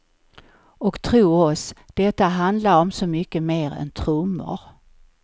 Och tro oss, detta handlar om så mycket mer än trummor.